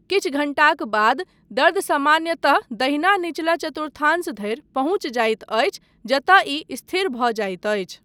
किछु घण्टाक बाद दर्द सामान्यतः दहिना निचला चतुर्थांश धरि पहुँचि जाइत अछि जतय ई स्थिर भऽ जाइत अछि।